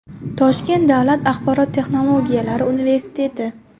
Toshkent davlat axborot texnologiyalari universiteti.